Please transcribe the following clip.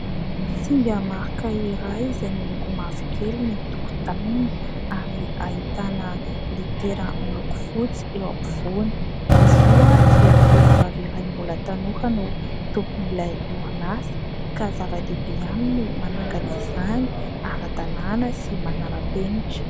Singa marika iray izay miloko mavokely ny tokotaniny ary ahitana litera miloko fotsy eo ampovoany. Izy io dia tovovavy iray mbola tanora no tompon'ilay orinasa, ka zava-dehibe aminy ny manangana izany ara-dalàna sy manara-penitra.